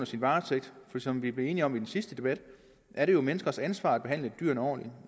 sin varetægt for som vi blev enige om i den sidste debat er det jo menneskers ansvar at behandle dyrene ordentligt